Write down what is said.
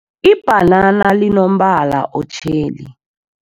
Ibhanana linombala otjheli.